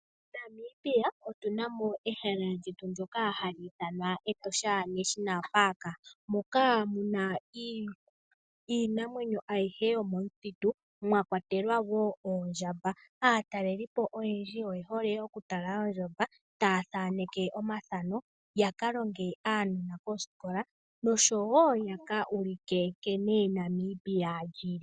MoNamibia otu na mo ehala lyetu ndyoka hatu ithana Etosha National Park moka mu na iinamwenyo ayihe yomomuthitu, mwa kwatelwa wo oondjamba. Aatalelipo oyendji oye hole okutala ondjamba, taya thaneke omafano ya ka longe aanona koskola, nosho wo ya ka ulike nkene Namibia li li.